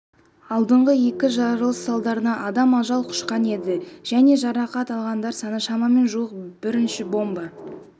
алдыңғы екі жарылыс салдарынан адам ажал құшқан еді және жарақат алғандар саны шамамен жуық бірінші бомба